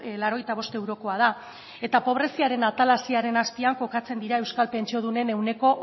laurogeita bost eurokoa da eta pobreziaren atalasearen azpian kokatzen dira euskal pentsiodunen ehuneko